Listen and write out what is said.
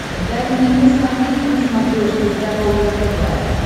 дай мне посмотреть на смотрешке здоровое тв